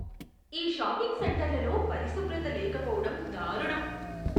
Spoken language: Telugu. ఈ షాపింగ్ సెంటర్లలో పరిశుభ్రత లేకపోవడం దారుణం.